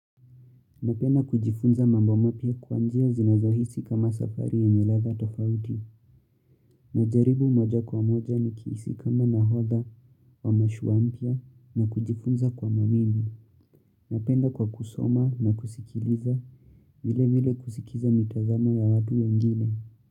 Napenda kujifunza mambo mapya kwa njia zinazohisi kama safari yenye ladha tofauti. Najaribu moja kwa moja ni kihisi kama nahodha wa mashua mpya na kujifunza kwa mawimu. Napenda kwa kusoma na kusikiliza, vile vile kusikiza mitazamo ya watu wengine.